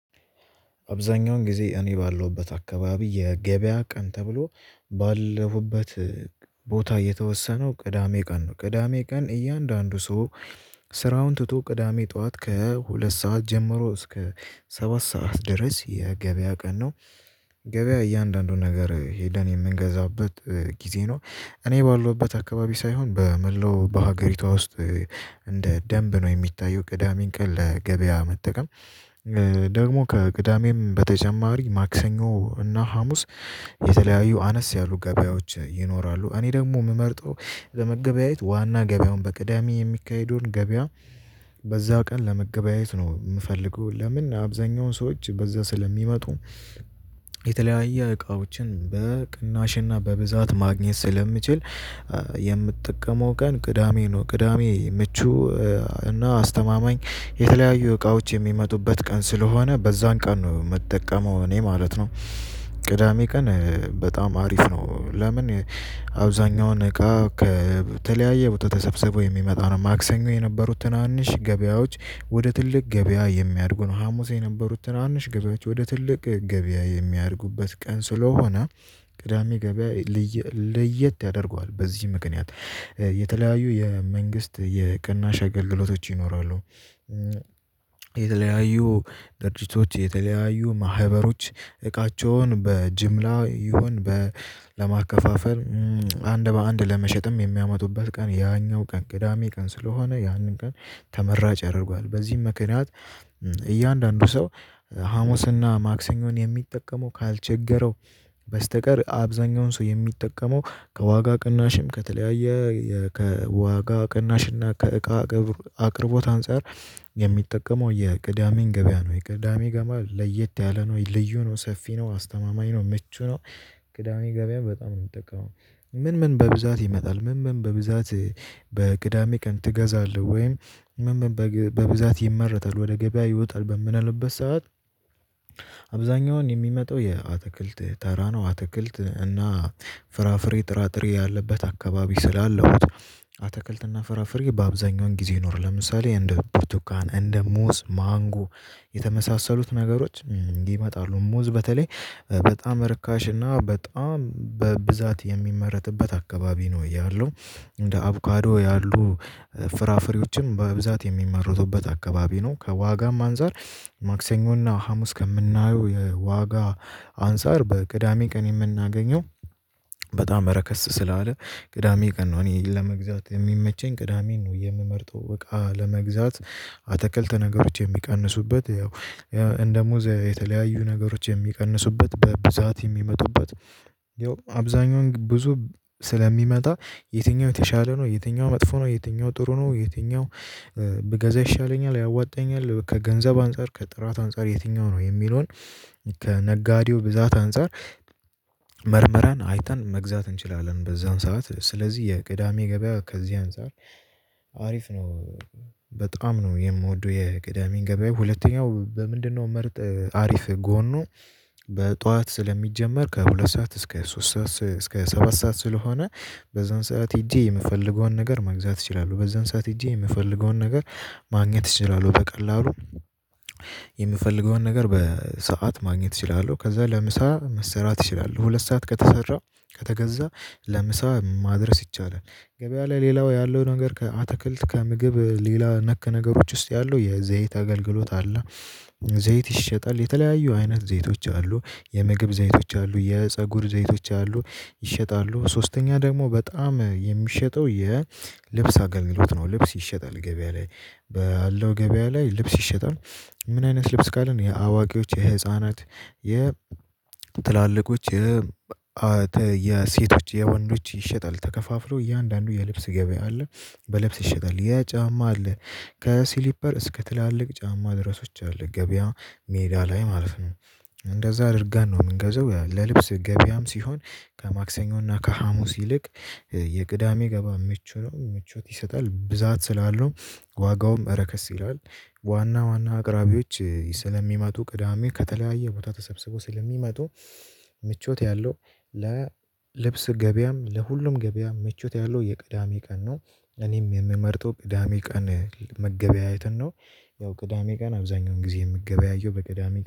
አብዛኛውን ጊዜ እኔ ባለሁበት አካባቢ የገበያ ቀን ተብሎ ባለሁበት ቦታ የተወሰነው ቅዳሜ ቀን ነው። ቅዳሜ ቀን እያንዳንዱ ሰው። ስራውን ትቶ ቅዳሜ ጥዋት ከሁለት ሰዓት ጀምሮ እስከ ሰባት ሰዓት ድረስ የገበያ ቀን ነው። ገበያ እያንዳንዱን ነገር ሄደን የምንገዛበት ጊዜ ነው። እኔ ባለውበት አካባቢ ሳይሆን በመላው በሀገሪቷ ውስጥ እንደ ደንብ ነው የሚታየው ቅዳሜን ቀን ለገበያ መጠቀም። ደግሞ ከቅዳሜም በተጨማሪ ማክሰኞ እና ሀሙስ የተለያዩ አነስ ያሉ ገበያዎች ይኖራሉ። እኔ ደሞ እምመርጠው ለመገበያየት ዋና ገበያውን በቅዳሜ የሚካሄደውን ገበያ። በዛው ቀን ለመገበያየት ነው እምፈልገው ለምን አብዛኛውን ሰዎች በዛ ስለሚመጡ። የተለያየ እቃዎችን በቅናሽና በብዛት ማግኘት ስለምችል። የምትጠቀመው ቀን ቅዳሜ ነው። ቅዳሜ ምቹ እና አስተማማኝ የተለያዩ እቃዎች የሚመጡበት ቀን ስለሆነ በዛን ቀን ነው እምጠቀመው እኔ ማለት ነው። ቅዳሜ ቀን በጣም አሪፍ ነው ለምን? አብዛኛውን እቃ ከተለያየ ቦታ ተሰብስበው የሚመጣ ነው። ማክሰኞ የነበሩት ትናንሽ ገበያዎች ወደ ትልቅ ገበያ የሚያድጉ ነው ሀሙሴ የነበሩት ትናንሽ ገበያዎች ወደ ትልቅ ገበያ የሚያድጉበት ቀን ስለሆነ። ቅዳሜ ገበያ ለየት ያደርገዋል በዚህ ምክንያት። የተለያዩ የመንግስት የቅናሽ አገልግሎቶች ይኖራሉ። የተለያዩ ድርጅቶች የተለያዩ ማህበሮች እቃቸውን በጅምላ ይሁን ለማከፋፈል አንድ በአንድ ለመሸጥም የሚያመጡበት ቀን ያኛው ቀን ቅዳሜ ቀን ስለሆነ ያንን ቀን። ተመራጭ ያደርገዋል በዚህም ምክንያት። እያንዳንዱ ሰው ሀሙስና ማክሰኞን የሚጠቀመው ካልቸገረው። በስተቀር አብዛኛውን ሰው የሚጠቀመው ከዋጋ ቅናሽም ከተለያየ ከዋጋ ቅናሽና ከእቃ ከብር አቅርቦት አንፃር የሚጠቀመው የቅዳሜን ገበያ ነው። የቅዳሜ ገቢያ ለየት ያለ ነው ልዩ ነው ሰፊ ነው አስተማማኝ ነው ምቹ ነው። ቅዳሜ ገበያ በጣም ነው እምጠቀው። ምን ምን በብዛት ይመጣል? ምን ምን በብዛት? በቅዳሜ ቀን ትገዛለህ ወይም ምን ምን በብዛት ይመረታል ወደ ገበያ ይወጣል በምንለበት ሰዓት? አብዛኛውን የሚመጣው የአትክልት ተራ ነው አትክልት እና ፍራፍሬ ጥራጥሬ ያለበት አካባቢ ስላለው አትክልት እና ፍራፍሬ በአብዛኛውን ጊዜ ይኖራል። ለምሳሌ እንደ ብርቱካን እንደ ሙዝ ማንጎ። የተመሳሰሉት ነገሮች ይመጣሉ ሙዝ በተለይ በጣም ርካሽ እና በጣም በብዛት የሚመረትበት አካባቢ ነው ያለው። እንደ አቮካዶ ያሉ ፍራፍሬዎችም በብዛት የሚመረቱበት አካባቢ ነው ከዋጋም አንፃር። ማክሰኞና ሀሙስ ከምናየው የዋጋ አንፃር በቅዳሜ ቀን የምናገኘው በጣም ረከስ ስላለ። ቅዳሜ ቀን ነው እኔ ለመግዛት የሚመቸኝ ቅዳሜን ነው የምመርጠው እቃ ለመግዛት። አተክልት ነገሮች የሚቀንሱበት ያው እንደ ሙዝ የተለያዩ ነገሮች የሚቀንሱበት በብዛት የሚመጡበት ያው አብዛኛውን ብዙ ስለሚመጣ። የትኛው የተሻለ ነው? የትኛው መጥፎ ነው? የትኛው ጥሩ ነው? የትኛው ብገዛ ይሻለኛል ያዋጣኛል ከገንዘብ አንፃር ከጥራት አንፃር የትኛው ነው የሚለውን ከነጋዴው ብዛት አንፃር። መርመረን አይተን መግዛት እንችላለን በዛን ሰዓት ስለዚህ የቅዳሜ ገበያ ከዚህ አንፃር አሪፍ ነው። በጣም ነው የምወደው የቅዳሜን ገበያዬ ሁለተኛው በምንድነው ምርጥ አሪፍ ጎኑ። በጧት ስለሚጀመር ከሁለት ሰዓት እስከ ሶስት ሰዓት እስከ ሰባት ሰዓት ስለሆነ። በዛን ሰዓት ሄጄ የምፈልገውን ነገር መግዛት እችላለሁ በዛን ሰዓት ሄጄ የምፈልገውን ነገር ማግኘት እችላለሁ በቀላሉ። የምፈልገውን ነገር በሰአት ማግኘት እችላለሁ ከዛ ለምሳ መሰራት ይችላል ሁለት ሰዓት ከተሰራ ከተገዛ ለምሳ ማድረስ ይቻላል። ገበያ ላይ ሌላው ያለው ነገር ከአትክልት ከምግብ ሌላ ነክ ነገሮች ውስጥ ያለው የዘይት አገልግሎት አለ። ዘይት ይሸጣል የተለያዩ አይነት ዘይቶች አሉ የምግብ ዘይቶች አሉ የፀጉር ዘይቶች አሉ። ይሸጣሉ ሶስተኛ ደግሞ በጣም የሚሸጠው የልብስ አገልግሎት ነው። ልብስ ይሸጣል ገበያ ላይ ባለው ገበያ ላይ ልብስ ይሸጣል። ምን አይነት ልብስ ካልን የአዋቂዎች የህፃናት የትላልቆች። የሴቶች የወንዶች ይሸጣል ተከፋፍሎ እያንዳንዱ የልብስ ገበያ አለ። በልብስ ይሸጣል የጫማ አለ። ከሲሊፐር እስከ ትላልቅ ጫማ ድረሶች አለ ገበያ ሜዳ ላይ ማለፍ ነው። እንደዛ አድርገን ነው እምንገዘው ለልብስ ገበያም ሲሆን። ከማክሰኞና ከሀሙስ ይልቅ የቅዳሜ ገባ ምቹ ነው ምቾት ይሰጣል ብዛት ስላለው። ዋጋውም ረከስ ይላል ዋና ዋና አቅራቢዎች ስለሚመጡ ቅዳሜ ከተለያየ ቦታ ተሰብስበው ስለሚመጡ። ምቾት ያለው ለልብስ ገበያም ለሁሉም ገበያ ምቾት ያለው የቅዳሜ ቀን ነው። እኔም የምመርጠው ቅዳሜ ቀን መገበያየትን ነው። ያው ቅዳሜ ቀን አብዛኛውን ጊዜ የምገበያየው በቅዳሜ